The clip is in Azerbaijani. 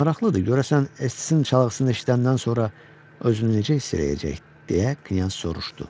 Maraqlıdır, görəsən Estisin çalğısını eşidəndən sonra özünü necə hiss eləyəcək, deyə Knyaz soruşdu.